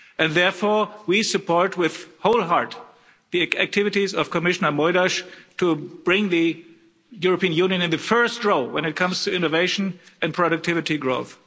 Therefore, we support wholeheartedly the activities of Commissioner Moedas to bring the European Union into first position when it comes to innovation and productivity growth.